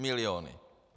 Miliony.